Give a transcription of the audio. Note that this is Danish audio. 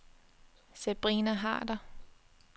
Sabrina Harder